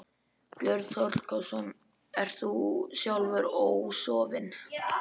Björn Þorláksson: Ert þú sjálfur ósofinn?